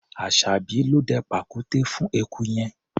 Aṣàbí ló dẹ pàkúté fún eku yẹn.